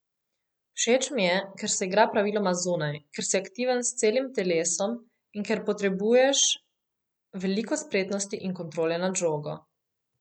Všeč mi je, ker se igra praviloma zunaj, ker si aktiven s celim telesom in ker potrebuješ veliko spretnosti in kontrole nad žogo.